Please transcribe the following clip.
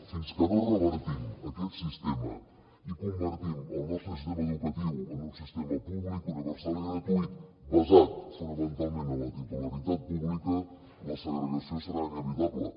fins que no revertim aquest sistema i convertim el nostre sistema educatiu en un sistema públic universal i gratuït basat fonamentalment en la titularitat pública la segregació serà inevitable